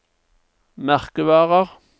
merkevarer